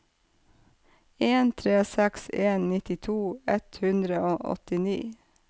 en tre seks en nittito ett hundre og åttini